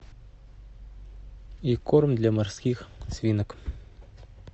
и корм для морских свинок